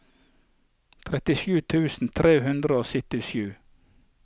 trettisju tusen tre hundre og syttisju